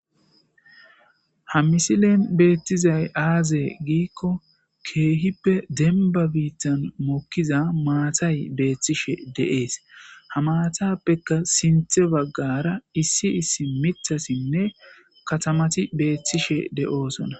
ha misilen beettizay aazee giikko keehippe denba biittan mokkiza maatay beethtishe de7ees ha maatappeka sinthe baggara issi issi mitasinne katamati beethtishe de7oosona